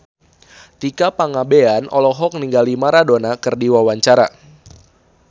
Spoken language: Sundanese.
Tika Pangabean olohok ningali Maradona keur diwawancara